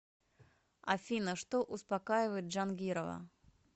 афина что успокаивает джангирова